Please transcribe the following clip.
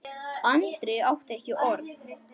Andri átti ekki orð.